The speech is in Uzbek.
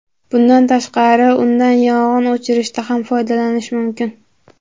Bundan tashqari, undan yong‘in o‘chirishda ham foydalanish mumkin.